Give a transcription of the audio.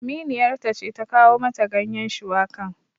Aminiyar ta ce ta kawo mata ganyen shuwakan